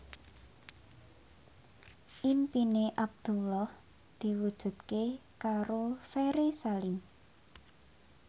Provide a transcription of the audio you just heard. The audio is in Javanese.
impine Abdullah diwujudke karo Ferry Salim